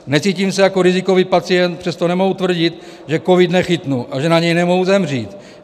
Necítím se jako rizikový pacient, přesto nemohu tvrdit, že covid nechytnu a že na něj nemohu zemřít.